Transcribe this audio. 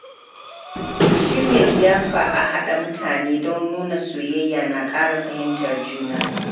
Shirya liyafa a haɗa mutane don nuna soyayya na ƙara fahimtar juna.